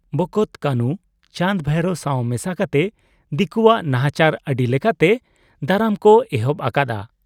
ᱵᱚᱠᱚᱛ ᱠᱟᱹᱱᱷᱩ, ᱪᱟᱸᱫᱽ, ᱵᱷᱟᱭᱨᱚ ᱥᱟᱶ ᱢᱮᱥᱟ ᱠᱟᱛᱮ ᱫᱤᱠᱩᱣᱟᱜ ᱱᱟᱦᱟᱪᱟᱨ ᱟᱹᱰᱤ ᱞᱮᱠᱟᱛᱮ ᱫᱟᱨᱟᱢ ᱠᱚ ᱮᱦᱚᱵ ᱟᱠᱟᱫ ᱟ ᱾